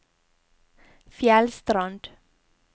Fjellstrand